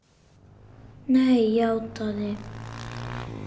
Nei, játaði